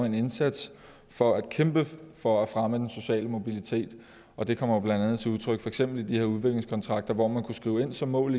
en indsats for at kæmpe for at fremme den sociale mobilitet og det kommer blandt andet til udtryk for eksempel i de her udviklingskontrakter hvor man kunne skrive ind som mål